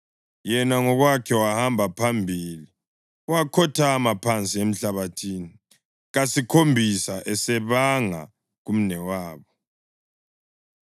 Yena ngokwakhe wahamba phambili wakhothama phansi emhlabathini kasikhombisa esebanga kumnewabo.